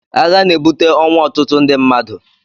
Agha na-ebute ọnwụ ọtụtụ ndị mmadụ.